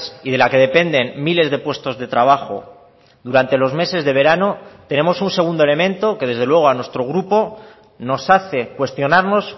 y de la que dependen miles de puestos de trabajo durante los meses de verano tenemos un segundo elemento que desde luego a nuestro grupo nos hace cuestionarnos